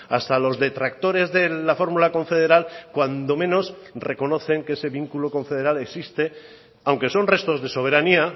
hasta los detractores de la fórmula confederal cuando menos reconocen que ese vínculo confederal existe aunque son restos de soberanía